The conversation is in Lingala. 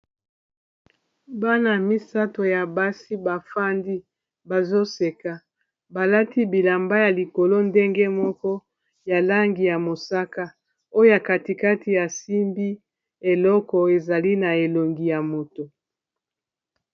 bana misato ya basi bafandi bazoseka balati bilamba ya likolo ndenge moko ya langi ya mosaka oyo katikati ya simbi eloko ezali na elongi ya moto